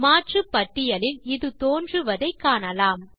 மாற்றுப்பட்டியலில் இது தோன்றுவதை காணலாம்